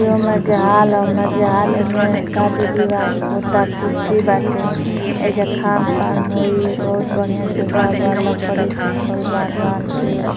अ मज हाल अउ मज हाल में शादी -बिवाह होता कुर्सी बाटे ऐजा खान-पान होई बहोत बढ़िया सजावल बा लकड़ी सुखल बांध बांध के --